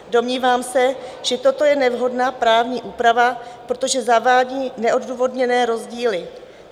Domnívám se, že toto je nevhodná právní úprava, protože zavádí neodůvodněné rozdíly.